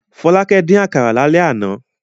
Fọlákẹ́ dín àkàrà lálẹ́ àná.